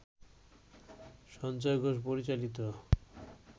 সঞ্জয় ঘোষ পরিচালিত